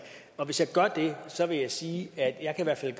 og hvis jeg gør det vil jeg sige at jeg i hvert fald